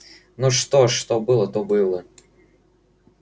ну что ж что было то было